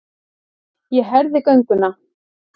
Ég herði gönguna.